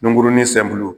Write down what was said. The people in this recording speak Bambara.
Nunkurunin